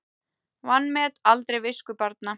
Vanmet aldrei visku barna.